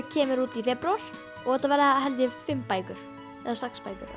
kemur út í febrúar og þetta verða held ég fimm bækur eða sex bækur